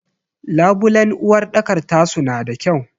Labulen uwarɗakar ta suna da kyau.